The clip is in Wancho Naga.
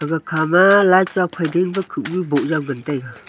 gakham boh jaw ngan taiga.